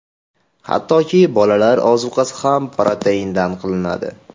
Hattoki bolalar ozuqasi ham proteindan qilinadi.